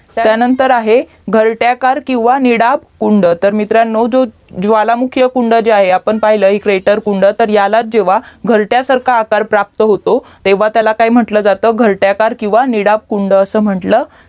त्यानंतर आहे घरट्या कार किवा निडाब कुंड तर मित्रांनो जो ज्वालामुखी वा कुंड जे आहे आपण पाहिल एकुवेटोर कुंड तर यालाच जेव्हा घरट्यासारखा आकार प्राप्त होतो तेव्हा त्याला काय म्हंटलं जात घरट्याकर किव्हा निडाब कुंड असा म्हंटलं